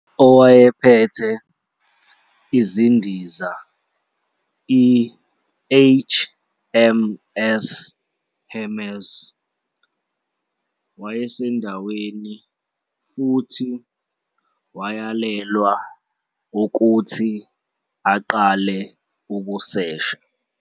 Owayephethe izindiza i- HMS Hermes wayesendaweni futhi wayalelwa ukuthi aqale ukusesha.